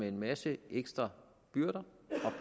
en masse ekstra byrder